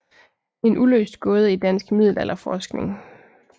En uløst gåde i dansk middelalderforskning